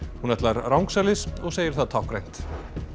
hún ætlar rangsælis og segir það táknrænt